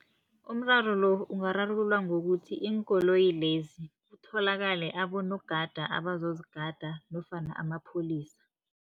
Umraro lo ungararululwa ngokuthi, iinkoloyi lezi kutholakale abonogada abazozigada nofana amapholisa.